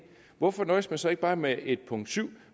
hvorfor nøjes man så ikke bare med at have et punkt 7